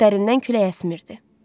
Bəxtlərindən külək əsmirdi.